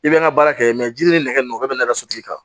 I bɛ n ka baara kɛ ji ni nɛgɛ bɛ nɛgɛso tigi kan